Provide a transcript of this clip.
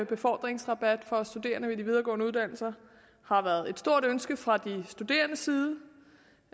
befordringsrabat for studerende ved de videregående uddannelser har været et stort ønske fra de studerendes side